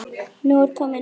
Nú er komið nóg!